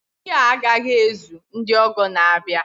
Nri a agaghị ezuru ndị ọgọ na-abịa